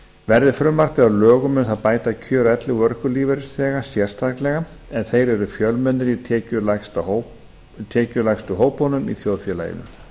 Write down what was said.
verði frumvarpið að lögum mun það bæta kjör elli og örorkulífeyrisþega sérstaklega en þeir eru fjölmennir í tekjulægstu hópunum í þjóðfélaginu